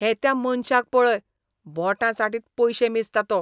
हे त्या मनशाक पळय. बोटां चाटीत पयशे मेजता तो.